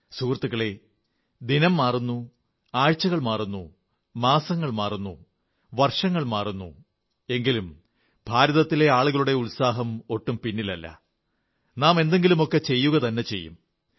സുഹൃത്തുക്കളേ ദിനം മാറുന്നു ആഴ്ചകൾ മാറുന്നു മാസങ്ങൾ മാറുന്നു വർഷങ്ങൾ മാറുന്നു എങ്കിലും ഭാരതത്തിലെ ആളുകളുടെ ഉത്സാഹവും നമ്മളും ഒട്ടും പിന്നിലല്ല നാം എന്തെങ്കിലുമൊക്കെ ചെയ്യുകതന്നെ ചെയ്യും